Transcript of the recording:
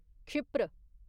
क्षिप्र